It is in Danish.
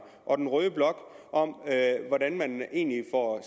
og den røde blok hvordan man egentlig får